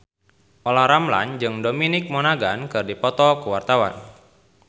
Olla Ramlan jeung Dominic Monaghan keur dipoto ku wartawan